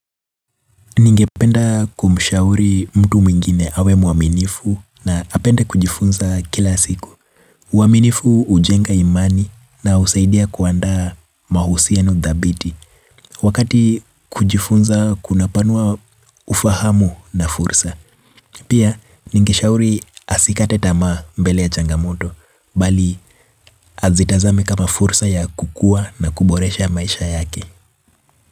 Ningependa kumshauri mtu mwingine awe mwaminifu na apende kujifunza kila siku. Uaminifu hujenga imani na husaidia kuandaa mahusiano dhabiti. Wakati kujifunza kunapanua ufahamu na fursa. Pia, ningeshauri asikate tamaa mbele ya changamoto, bali azitazame kama fursa ya kukua na kuboresha maisha yake.